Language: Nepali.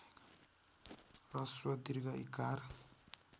ह्रस्व दीर्घ ईकार